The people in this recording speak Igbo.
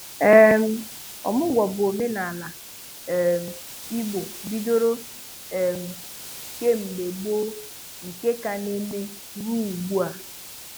um Ọmụ̀gwó bụ ọ̀menàalá um Igbo bídòrò um kem̀bè gboo nke ka na-emè ruò ugbụ̀a.